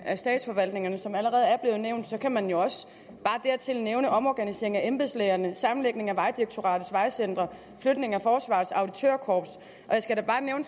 af statsforvaltningerne som allerede er blevet nævnt kan man jo også bare dertil nævne omorganiseringen af embedslægerne sammenlægningen af vejdirektoratets vejcentre og flytningen af forsvarets auditørkorps